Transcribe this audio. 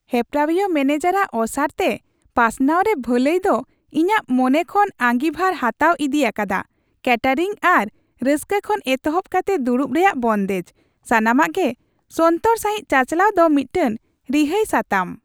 ᱦᱮᱯᱨᱟᱣᱤᱭᱟᱹ ᱢᱮᱹᱱᱮᱡᱟᱨᱟᱜ ᱚᱥᱟᱨᱛᱮ ᱯᱟᱥᱱᱟᱣ ᱨᱮ ᱵᱷᱟᱹᱞᱟᱹᱭ ᱫᱚ ᱤᱧᱟᱹᱜ ᱢᱚᱱᱮ ᱠᱷᱚᱱ ᱟᱺᱜᱤᱵᱷᱟᱨ ᱦᱟᱛᱟᱣ ᱤᱫᱤ ᱟᱠᱟᱫᱟ ᱠᱮᱹᱴᱟᱨᱤᱝ ᱟᱨ ᱨᱟᱹᱥᱠᱟᱹ ᱠᱷᱚᱱ ᱮᱛᱚᱦᱚᱵ ᱠᱟᱛᱮ ᱫᱩᱲᱩᱵ ᱨᱮᱭᱟᱜ ᱵᱚᱱᱫᱮᱡ ; ᱥᱟᱱᱟᱢᱟᱜ ᱜᱮ ᱥᱚᱱᱛᱚᱨ ᱥᱟᱹᱦᱤᱡ ᱪᱟᱪᱟᱞᱟᱣ ᱫᱚ ᱢᱤᱫᱴᱟᱝ ᱨᱤᱦᱟᱹᱭ ᱥᱟᱛᱟᱢ ᱾